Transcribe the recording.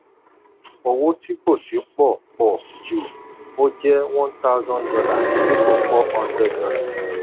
owó tí kò sí pọ̀ pọ̀ ju ó jẹ one thousand dollars dípò four hundred dollars.